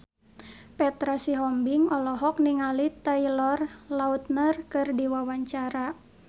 Petra Sihombing olohok ningali Taylor Lautner keur diwawancara